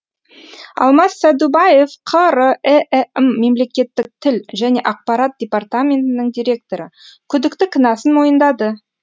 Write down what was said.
алмас сәдубаев қр іім мемлекеттік тіл және ақпарат департаментінің директоры күдікті кінәсін мойындады